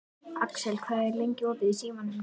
Axel, hvað er lengi opið í Símanum?